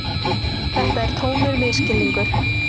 Þetta er tómur misskilningur.